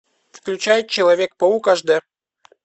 включай человек паук аш дэ